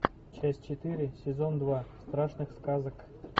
часть четыре сезон два страшных сказок